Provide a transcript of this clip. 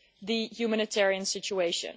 the humanitarian situation.